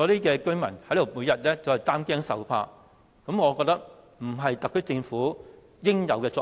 讓居民每天擔驚受怕，並非特區政府應有的作為。